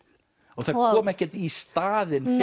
og það kom ekkert í staðinn